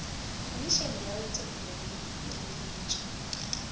khomišene ya wetšopele le hireletšo